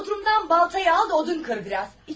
Bodrumdan baltanı al da odun kır biraz.